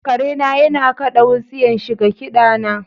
Kare na yana kaɗa wutsiyan shi ga kida na.